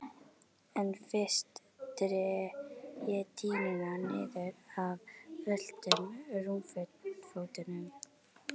En fyrst dreg ég dýnuna niður af völtum rúmfótunum.